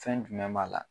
Fɛn jumɛn b'a la